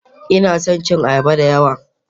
Ina son cin ayaba da yawa